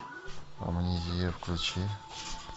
амнезия включи